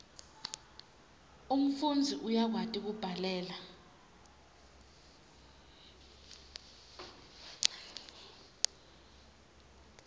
umfundzi uyakwati kubhalela